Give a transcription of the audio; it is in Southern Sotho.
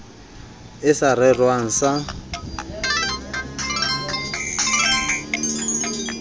e sa rerwang a sa